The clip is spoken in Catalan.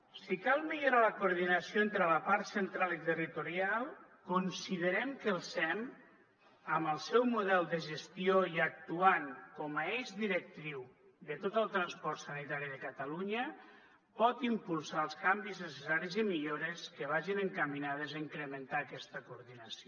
si cal millorar la coordinació entre la part central i territorial considerem que el sem amb el seu model de gestió i actuant com a eix directriu de tot el transport sanitari de catalunya pot impulsar els canvis necessaris i millores que vagin encaminades a incrementar aquesta coordinació